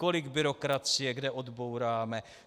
Kolik byrokracie kde odbouráme.